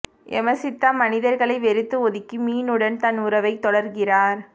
யமசித்தா மனிதர்களை வெறுத்து ஒதுக்கி மீனுடன் தன் உறவை தொடர்கிறார்